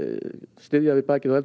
styðja við bakið á eldri